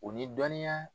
U ni dɔnniya